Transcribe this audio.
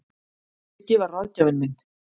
Siggi var ráðgjafinn minn.